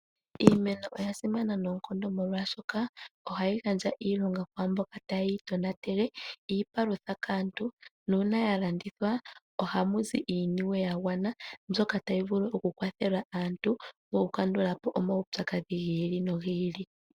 Iimeno oya simana noonkondo molwaashoka ohayi gandja iilonga kwaamboka taye yi tonatele, iipalutha kaantu, nuuna ya landithwa ohamu zi iiniwe ya gwana mbyoka tayi vulu okukwathela aantu moku kandula po omaupyakadhi gi ili nogi ili.